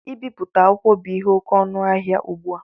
Ibipụta akwụkwọ bu ihe oké ọnụ ahịa ụgbụ a